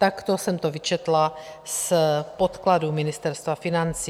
Takto jsem to vyčetla z podkladů Ministerstva financí.